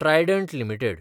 Trident limited